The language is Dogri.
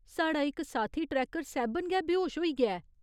साढ़ा इक साथी ट्रैकर सैह्बन गै बेहोश होई गेआ ऐ।